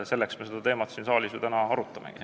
Selleks me seda teemat siin saalis ju täna arutamegi.